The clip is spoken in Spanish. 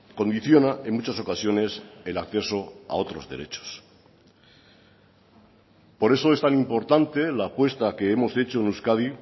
condiciona en muchas ocasiones el acceso a otros derechos por eso es tan importante la apuesta que hemos hecho en euskadi